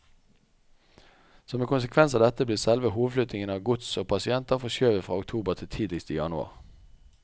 Som en konsekvens av dette blir selve hovedflyttingen av gods og pasienter forskjøvet fra oktober til tidligst i januar.